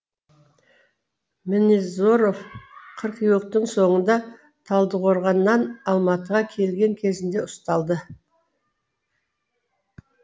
мәнізоров қыркүйектің соңында талдықорғаннан алматыға келген кезінде ұсталды